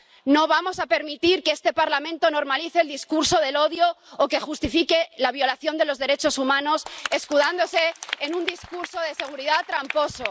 No vamos a permitir que este Parlamento normalice el discurso del odio o que justifique la violación de los derechos humanos, escudándose en un discurso de seguridad tramposo.